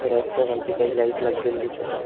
Rack च्या खालती काही लाईट लागलेली दिसत आहे.